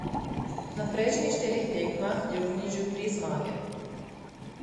Na prejšnjih štirih tekmah je vknjižil tri zmage.